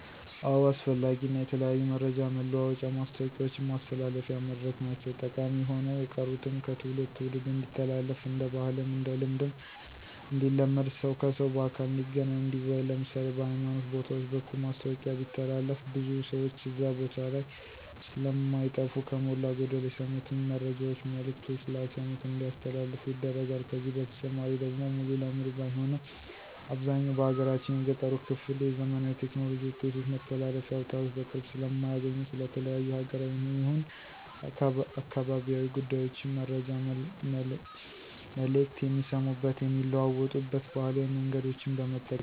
አዎ አስፈላጊ እና የተለያዩ መረጃ መለዋወጫ ማስታወቂያውችን ማስተላለፊያ መድረክ ናቸው። ጠቀሚ ሆነው የቀሩትም ከትውልድ ትውልድ እንዲተላለፍ እንደ ባህልም እንደ ልማድም እንዲለመድ ሰው ከሰው በአካል እንዲገናኝ እንዲወያይ ለምሳሌ፦ በሀይማኖት ቦታውች በኩል ማስታወቂያ ቢተላለፍ ብዙ ሰውች እዛ ቦታ ላይ ስለማይጠፉ ከሞላ ጎደል የሰሙትን መረጃውች መልክቶች ላልሰሙት እንዲያስተላልፉ ይደረጋል። ከዚህ በተጨማሪ ደግሞ ሙሉ ለሙሉ ባይሆንም አብዛኛው በሀገራችን የገጠሩ ክፍል የዘመናዊ ቴክኖሎጂ ውጤቶች መተላለፊያ አውታሮች በቅርብ ስለማያገኙ ስለ ተለያዩ ሀገራዊም ይሁን አካባቢያዊ ጉዳዮችን መረጃ መልክት የሚሰሙበት የሚለዋወጡበት ባህላዊ መንገዶችን በመጠቀም ነው።